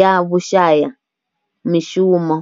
ya vhushayamishumo.